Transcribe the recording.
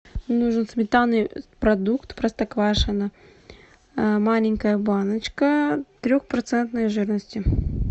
нужен сметанный продукт простоквашино маленькая баночка трехпроцентной жирности